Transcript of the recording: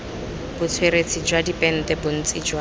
botsweretshi jwa dipente bontsi jwa